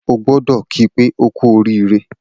O gbọdọ̀ ki pé oku orire.